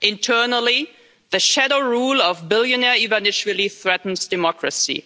Internally, the shadow rule of billionaire Ivanishvili threatens democracy.